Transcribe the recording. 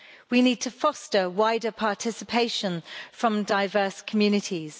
We need to foster wider participation from diverse communities.